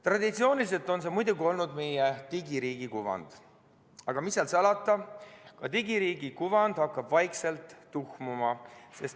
Traditsiooniliselt on see muidugi olnud meie digiriigi kuvand, aga mis seal salata, ka digiriigi kuvand hakkab vaikselt tuhmuma.